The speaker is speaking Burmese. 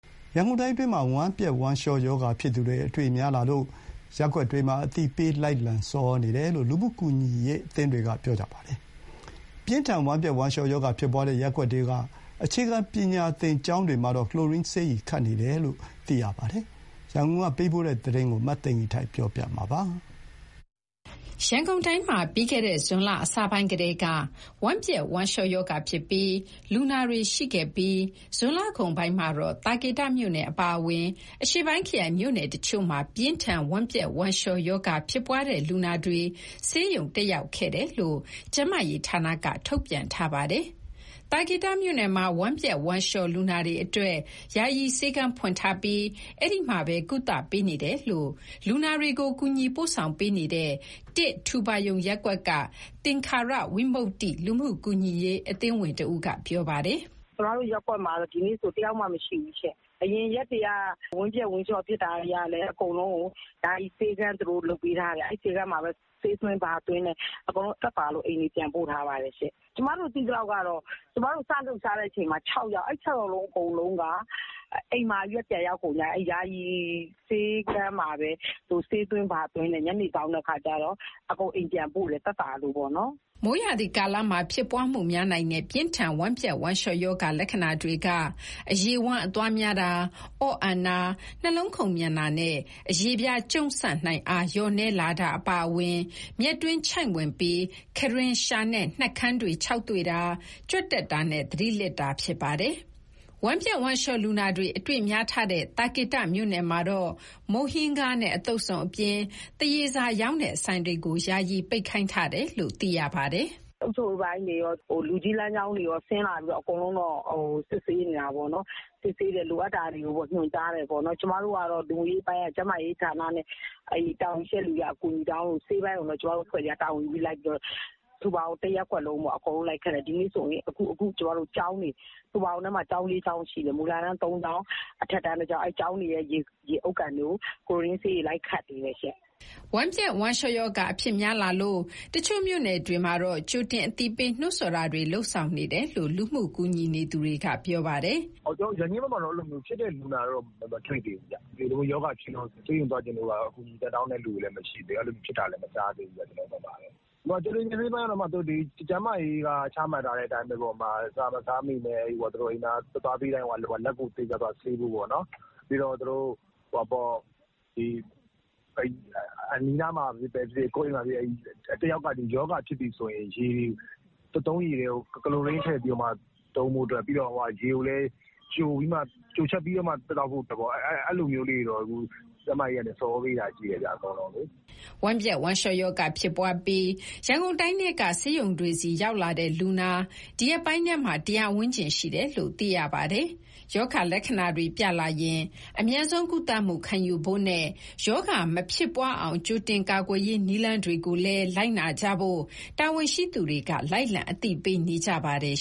ရန်ကုန်တိုင်းအတွင်းမှာ ဝမ်းပျက်ဝမ်းလျှောရောဂါဖြစ်သူတွေ အတွေ့များလာလို့ ရပ်ကွက်တွေထဲ လိုက်လံအသိပေး ဆော်ဩနေတယ်လို့ လူမှုကူညီရေးအသင်းတွေက ပြောပါတယ်။ ပြင်းထန်ဝမ်းပျက်ဝမ်းလျှောရောဂါဖြစ်ပွားမှုရှိခဲ့တဲ့ ရပ်ကွက်တွေထဲက အခြေခံပညာသင်ကျောင်းတွေမှာတော့ ကလိုရင်းဆေးရည်ခတ်နေတယ်လို့ သိရပါတယ်။ ရန်ကုန်ကနေ ပေးပို့တဲ့သတင်းကို မသိင်္ဂီထိုက်က တင်ပြပေးထားပါတယ်။ ရန်ကုန်တိုင်းမှာ ပြီးခဲ့တဲ့ ဇွန်လအစပိုင်းကတည်းက ဝမ်းပျက်ဝမ်းလျှောရောဂါဖြစ်တဲ့ လူနာတွေရှိခဲ့ပြီး ဇွန်လကုန်ပိုင်းမှာတော့ သာကေတမြို့နယ်အပါအဝင် အရှေ့ပိုင်းခရိုင်မြို့နယ်တချို့မှာ ပြင်းထန်ဝမ်းပျက်ဝမ်းလျှောဖြစ်တဲ့လူနာတွေ ဆေးရုံတက်ခဲ့ကြတယ်လို့ ကျန်းမာရေးဌာနက ထုတ်ပြန်ထားပါတယ်။ သာကေတမြို့နယ်မှာ ဝမ်းပျက်ဝမ်းလျှောလူနာတွေအတွက် ယာယီဆေးခန်းဖွင့်ထားပြီး အဲဒီမှာပဲ ကုသပေးနေတယ်လို့ လူနာတွေကို ကူညီပို့ဆောင်ပေးနေတဲ့ ထူပါရုံ ရပ်ကွက်က သင်္ခါရဝိမုတ္တိ လူမှုကူညီရေးအသင်းဝင်တဦးက ပြောပါတယ်။ "ကျမတို့ရပ်ကွက်မှာတော့ ဒီနေ့ဖြစ်တာ တယောက်မှမရှိဘူးရှင့်။ အရင်ရက်တွေက ဝမ်းပျက်ဝမ်းလျှော ဖြစ်တာတွေကလည်း အကုန်လုံးကို ယာယီဆေးခန်း သူတို့လုပ်ပေးထားတယ်။ အဲဒီဆေးခန်းမှာပဲ ဆေးသွင်းဘာသွင်းနဲ့ အကုန်လုံးသက်သာလို့ အိမ်တွေပြန်ပို့ထားပါတယ်ရှင့်။ ကျမတို့ သိသလောက်ကတော့ ကျမတို့စလှုပ်ရှားတဲ့အချိန်မှာ ၆ ယောက်။ အဲဒီ ၆ ယောက်လုံး အိမ်ပြန်ရောက်ကုန်ကြပြီ။ အဲဒီယာယီဆေးခန်းမှာပဲ သူတို့ဆေးသွင်းဘာသွင်းနဲ့ ညနေစောင်းတဲ့အခါကျတော့ အကုန်အိမ်ပြန်ပို့တယ်။ သက်သာလို့ပေါ့နော်။" မိုးရာသီမှာ အဖြစ်များနိုင်တဲ့ ပြင်းထန်ဝမ်းပျက်ဝမ်းလျှောရောဂါ လက္ခဏာတွေက အရည်ဝမ်းအသွားများတာ၊ အော့အန်တာ၊ နှလုံးခုန်မြန်တာနဲ့ အရေပြားကျုံ့ဆန့်နိုင်အား လျှော့နည်းလာတာ အပါအဝင် မျက်တွင်းချိုင့်ဝင်ပြီး၊ ခံတွင်း၊ လျှာနဲ့ နှုတ်ခမ်းတွေခြောက်သွေ့တာ၊ ကြွက်တက်တာနဲ့ သတိလစ်တာ ဖြစ်ပါတယ်။ ဝမ်းပျက်ဝမ်းလျှောလူနာ အတွေ့များထားတဲ့ သာကေတမြို့နယ်မှာတော့ မုန့်ဟင်းခါးနဲ့ အသုတ်စုံအပြင် သွားရည်စာရောင်းတဲ့ ဆိုင်တွေကို ယာယီပိတ်ခိုင်းထားတယ်လို့ သိရပါတယ်။ "အုပ်ချုပ်ရေးပိုင်းတွေရော၊ လူကြီးလမ်းကြောင်းတွေရော ဆင်းလာပြီးတော့ အကုန်လုံးစစ်ဆေးနေတာပေါ့နော်။ လိုအပ်တာတွေကို ညွှန်ကြားတယ်။ ကျမတို့ကတော့ လူမှုရေးအပိုင်းက ကျန်းမာရေးဌာနနဲ့ အဲဒီတာဝန်ရှိတဲ့လူတွေက အကူအညီတောင်းလို့ ဆေးပိုင်းကိုပဲ ကျမတို့အဖွဲ့တွေက တာဝန်ယူပြီး ထူပါရုံတရပ်ကွက်လုံးပေါ့၊ အကုန်လုံးလိုက်ခတ်တယ်။ ဒီနေ့ဆိုရင် ထူပါရုံထဲမှာ ကျောင်း ၄ ကျောင်းရှိတယ်။ မူလတန်း ၃ ကျောင်း၊ အထက်တန်းတကျောင်း။ အဲဒီကျောင်းတွေထဲ ရေအုတ်ကန်တွေကို ကလိုရင်းဆေးရည် လိုက်ခတ်နေတယ်ရှင့်။" ဝမ်းပျက်ဝမ်းလျှောရောဂါ အဖြစ်များလာလို့ တချို့မြို့နယ်တွေမှာတော့ ကြိုတင်အသိပေး နှိုးဆော်ပေးနေတယ်လို့ လူမှုကူညီနေသူတွေက ပြောပါတယ်။ "ရန်ကင်းဘက်မှာတော့ ဖြစ်တဲ့လူနာမတွေ့သေးဘူး။ ဆေးရုံသွားချင်လို့ပါ အကူအညီတောင်းတဲ့သူလည်း မရှိသေးဘူး၊ အဲလိုလည်း မကြားမိသေးဘူးဗျ။ ကြိုတင်ပြင်ဆင်ရေးကတော့ ကျန်းမာရေးက ချမှတ်ထားတဲ့အတိုင်း အစားမစားမီနဲ့ အိမ်သာတက်ပြီးတိုင်း လက်ကိုစင်ကြယ်စွာဆေးဖို့။ ပြီးတော့ အနီးအနားမှာဖြစ်ဖြစ်၊ ကိုယ့်အိမ်မှာပဲဖြစ်ဖြစ် တယောက်က ဒီရောဂါဖြစ်ပြီဆိုရင် သုံးရေထဲကို ကလိုရင်းထည့်ပြီး သုံးဖို့နဲ့၊ ရေကိုလည်း ကျိုချက်ပြီးမှ သောက်သုံးဖို့ပေါ့။ အဲလိုမျိုးတွေကိုတော့ ကျန်းမာရေးကနေ ဆော်ဩပေးတာတော့ရှိတယ်။" ဝမ်းပျက်ဝမ်းလျှောရောဂါ ဖြစ်ပွားပြီး ရန်ကုန်တိုင်းထဲက ဆေးရုံတွေဆီ ရောက်လာတဲ့လူနာ ဒီရက်ပိုင်းထဲမှာ ၁၀၀ ဝန်းကျင်ရှိတယ်လို့ သိရပါတယ်။ ရောဂါလက္ခဏာတွေပြလာရင် အမြန်ဆုံးကုသမှု ခံယူဖို့နဲ့ ရောဂါမဖြစ်ပွားအောင် ကြိုတင်ကာကွယ်ရေး နည်းလမ်းတွေကိုလည်း လိုက်နာကြဖို့ တာဝန်ရှိသူတွေ လိုက်လံအသိပေးနေကြပါတယ်